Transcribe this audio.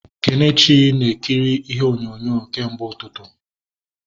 Kenechukwu na ekiri ihe onyonyo kemgbe ụtụtụ